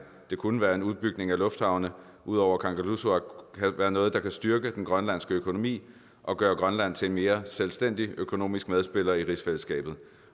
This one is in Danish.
det kunne være en udbygning af lufthavne ud over kangerlussuaq kan være noget der kan styrke den grønlandske økonomi og gøre grønland til en mere selvstændig økonomisk medspiller i rigsfællesskabet